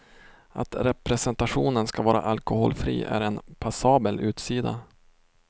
Att representationen ska vara alkoholfri är en passabel utsida.